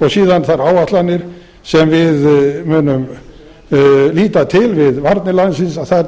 og síðan þær áætlanir sem við munum nýta til við varnir landsins þær taka